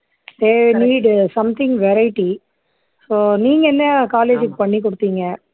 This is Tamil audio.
they need something variety so நீங்க என்ன college க்கு பண்ணி கொடுத்தீங்க